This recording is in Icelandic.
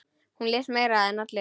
Hún les meira en allir.